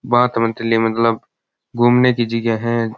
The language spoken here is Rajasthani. भात बतिले मतलब घूमने की चीजे है।